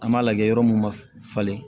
An b'a lajɛ yɔrɔ mun ma falen